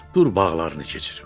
Dur bağlarını keçirim.